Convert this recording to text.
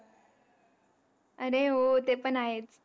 अरे हो, ते पण आहेच.